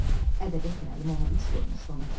Ədəbiyyat müəllimi ona üç qoymuşdu ona görə.